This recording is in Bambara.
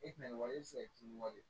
E tɛna nin wale e bi se k'i weele